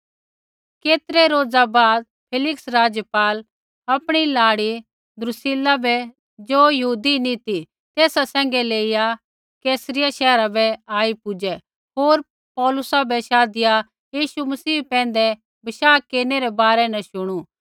केतरै रोज़ा बाद फेलिक्स राज़पाल आपणी लाड़ी द्रुसिल्ला बै ज़ो यहूदिनी ती सैंघै लेइया कैसरिया शैहर बै आई पुजै होर पौलुसा बै शाधिया यीशु मसीह पैंधै विश्वास केरनै रै बारै न शुणू